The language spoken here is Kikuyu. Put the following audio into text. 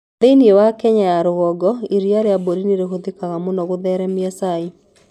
Thĩinĩ wa Kenya ya rũgongo, iria rĩa mbũri nĩ rĩhũthĩkaga mũno gũtheremia cai.